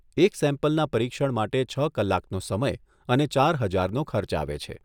એક સેમ્પલના પરીક્ષણ માટે છ કલાકનો સમય અને ચાર હજારનો ખર્ચ આવે છે.